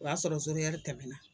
O y'a zoro ɛri tɛmɛnna.